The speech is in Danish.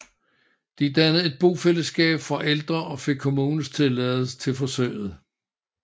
De dannede et bofællesskab for ældre og fik kommunens tilladelse til forsøget